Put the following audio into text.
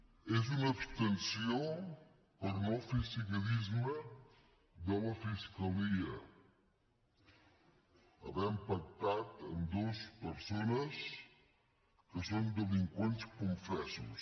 és una abstenció per no fer seguidisme de la fiscalia havent pactat amb dues persones que són delinqüents confessos